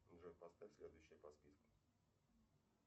джой поставь следующее по списку